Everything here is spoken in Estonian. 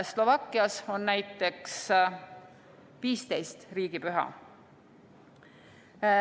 Slovakkias on näiteks 15 riigipüha.